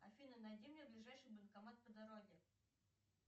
афина найди мне ближайший банкомат по дороге